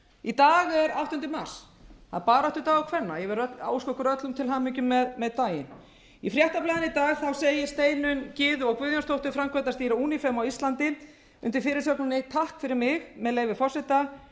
í dag er áttunda mars það er baráttudagur kvenna ég vil óska okkur öllum til hamingju með daginn í fréttablaðinu í segir steinunn eða guðjónsdóttir framkvæmdastýra unifem á íslandi undir fyrirsögninni takk fyrir mig með leyfi forseta